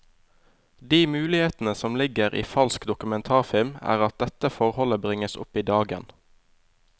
De mulighetene som ligger i falsk dokumentarfilm, er at dette forholdet bringes opp i dagen.